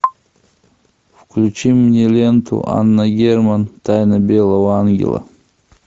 включи мне ленту анна герман тайна белого ангела